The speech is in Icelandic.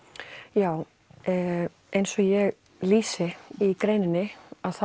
já eins og ég lýsi í greininni